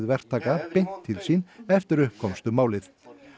verktakana beint til sín eftir að upp komst um málið